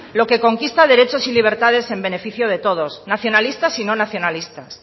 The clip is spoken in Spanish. lo que conquista derechos y libertades en beneficio de todos nacionalistas y no nacionalistas